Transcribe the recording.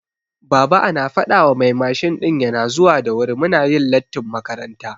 Baba ana fadawa mai mashin ɗin yana zuwa da wuri muna yin lattin makaranta